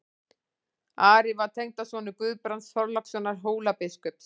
Ari var tengdasonur Guðbrands Þorlákssonar Hólabiskups.